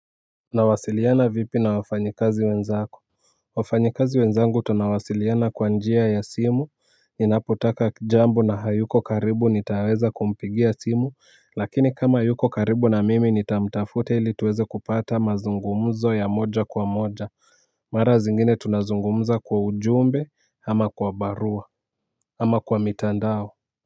Unawasiliana vipi na wafanyikazi wenzako. Wafanyikazi wenzangu tunawasiliana kwa njia ya simu ninapotaka jambo na hayuko karibu nitaweza kumpigia simu lakini kama yuko karibu na mimi nitamtafuta ili tuweze kupata mazungumuzo ya moja kwa moja. Mara zingine tunazungumza kwa ujumbe ama kwa barua ama kwa mitandao.